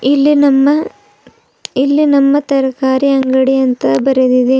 ಇಲ್ಲಿ ನಮ್ಮ ಇಲ್ಲಿ ನಮ್ಮ ತರಕಾರಿ ಅಂಗಡಿ ಅಂತ ಬರೆದಿದೆ.